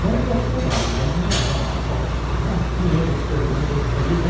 Não um questionário, mas uma, uma, umas quinhentas perguntas aí, né?